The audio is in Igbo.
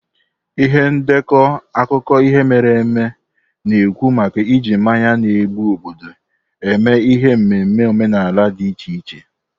Ihe ndekọ akụkọ ihe mere eme na-ekwu maka iji mmanya na-egbu obodo eme ihe n'ememe omenala dị iche iche.